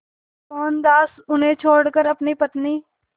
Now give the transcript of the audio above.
मोहनदास उन्हें छोड़कर अपनी पत्नी